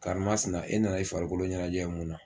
Karimasina e nan'i farikolo ɲɛnajɛ mun na?